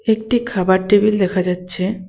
একটি খাবার টেবিল দেখা যাচ্ছে।